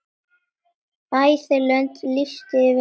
Bæði löndin lýstu yfir sigri.